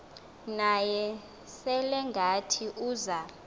naye selengathi uza